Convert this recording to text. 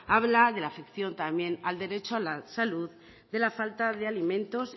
habla de la afección también al derecho a la salud de la falta de alimentos